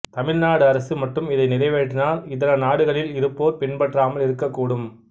தமிழ்நாடு அரசு மட்டும் இதை நிறைவேற்றினால் இதர நாடுகளிலில் இருப்போர் பின்பற்றாமல் இருக்க கூடும்